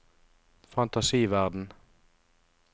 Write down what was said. fantasiverden